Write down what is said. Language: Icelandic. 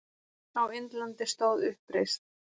Á Indlandi stóð uppreisn